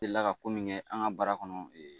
Delila ka ko min kɛ an ka bara kɔnɔ